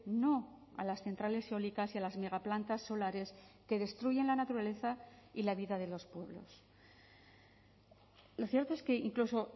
no a las centrales eólicas y a las megaplantas solares que destruyen la naturaleza y la vida de los pueblos lo cierto es que incluso